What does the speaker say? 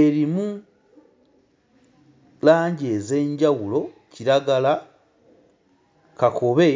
erimu langi ez'enjawulo; kiragala, kakobe